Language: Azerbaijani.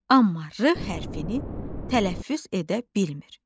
Amma r hərfinini tələffüz edə bilmir.